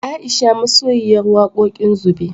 Aisha masoyiyar wakoƙin zube